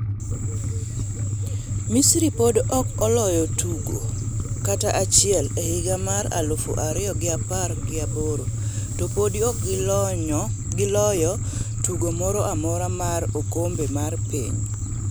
Misiri podi ok oloyo tugo kata chiel e higa mar aluf ariyo gi apar gi aboro to podi ok giloyo tugo moro amora mar okombe mar piny.